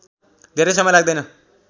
धेरै समय लाग्दैन